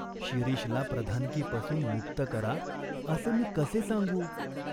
शिरीषला प्रधानकीपासून मुक्त करा, असे मी कसे सांगू ?